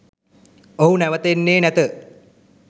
ඔහු නැවත එන්නේ නැත